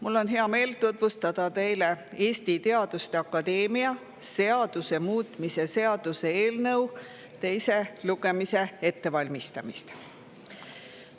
Mul on hea meel tutvustada teile Eesti Teaduste Akadeemia seaduse muutmise seaduse eelnõu teise lugemise ettevalmistamist.